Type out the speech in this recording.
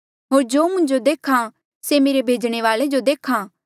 होर जो मुंजो देख्हा से मेरे भेजणे वाले जो देख्हा